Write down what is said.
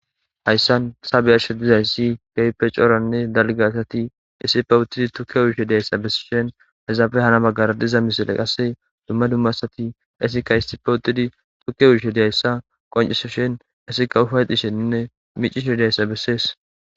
Hayssan ta be7ashe dizayssi keehippe coranne dalgga asati issippe uttidi tuke uyishe diyayssa bessishin izappe hara bagara diza misile qasi dumma dumma asati qassekka issippe uttidi tuke uyishe diyayssa qonccisishin asaykka ufayxxishenne miicishe diyayssa besees.